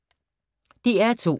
DR2